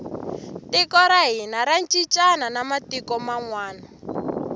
tiko ra hina ra cincana na matiku manwani